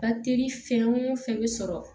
Batiri fɛn o fɛn bɛ sɔrɔ